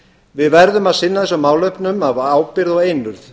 við verðum að sinna þessum málefnum af ábyrgð og einurð